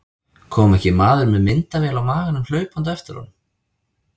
Kom ekki maður með myndavél á maganum hlaupandi á eftir honum.